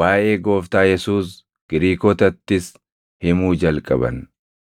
waaʼee Gooftaa Yesuus Giriikotattis himuu jalqaban.